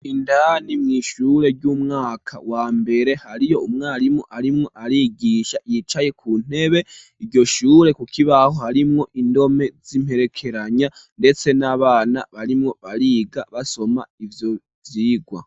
Indani mw’ishure, ry'umwaka wa mbere, hariyo umwarimu, arimwo arigisha, yicaye ku ntebe; iryo shure, ku kibaho, harimwo indome, z'imperekeranya, ndetse n'abana, barimwo bariga, basoma ivyo vyigwa.